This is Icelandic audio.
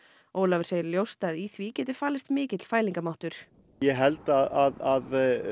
Ólafur segir ljóst að í því geti falist mikill fælingarmáttur ég held að